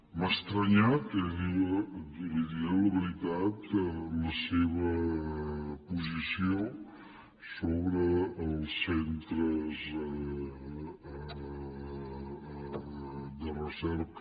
m’ha estranyat li diré la veritat la seva posició sobre els centres de recerca